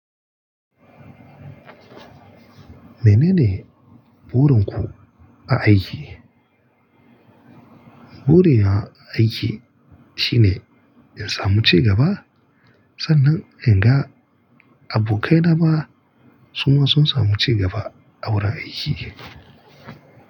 Menene burin ku a aiki? Burina a aiki shine in samu cigaba. Sannan in ga abokai na ma suma sun samu cigaba a wurin aiki.